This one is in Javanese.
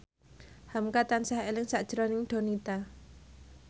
hamka tansah eling sakjroning Donita